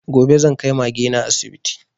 Gobe zan kai Mage na asibiti